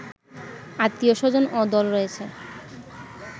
আত্বীয়-স্বজন ও দল রয়েছে